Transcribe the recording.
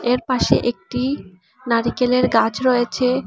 এর পাশে একটি নারিকেলের গাছ রয়েছে।